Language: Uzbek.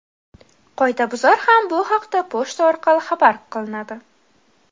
Qoidabuzar ham bu haqda pochta orqali xabardor qilinadi.